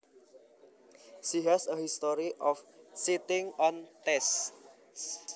She has a history of cheating on tests